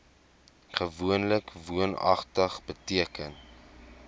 gewoonlik woonagtig beteken